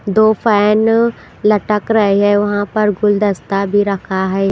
दो फैन लटक रहे हैं वहाँ पर गुलदस्ता भी रखा है।